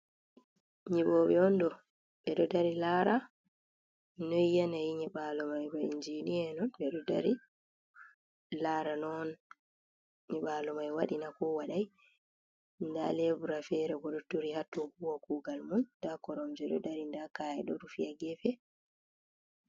Nyiɓoɓe on ɗo ɓe ɗo dari lara noi yanayi nyiɓalo mai, ba injiniya en on ɓe ɗo dari lara noi nyiɓalo mai waɗina ko wadai, nda lebura fere bo ɗo turi hattu huwa kugal mum nda koromje ɗo dari, nda ka’e ɗo rufiti ha gefe.